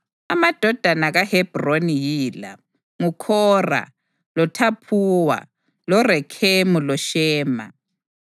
Amadodana kaHebhroni yila: nguKhora, loThaphuwa, loRekhemu loShema.